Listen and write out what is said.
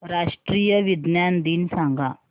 राष्ट्रीय विज्ञान दिन सांगा